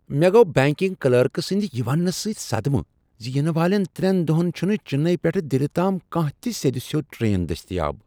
مےٚ گوٚو banking clerk سٕنٛدِ یہِ وننہٕ سٕتۍ صدمہ زِ ینہٕ والین ترٛین دۄہن چُھنہٕ چنئی پیٹھہٕ دِلہِ تام کانٛہہ تہِ سیدِ سیوٚد ٹرین دستیاب۔